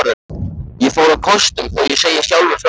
Ég fór á kostum, þó ég segi sjálfur frá.